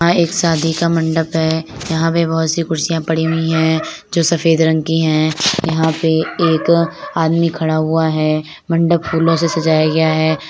यहा एक शादी का मंडप है यहा पे बहुत सी कुर्सियां पड़ी हुई है जो सफ़ेद रंग की है यहा पे एक आदमी खड़ा हुआ है मंडप फूलों से सजाया गया है।